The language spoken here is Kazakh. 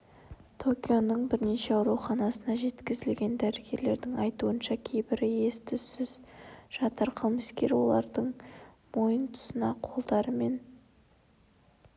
токионың бірнеше ауруханасына жеткізілген дәрігерлердің айтуынша кейбірі ес-түссіз жатыр қылмыскер олардың мойын тұсына қолдары мен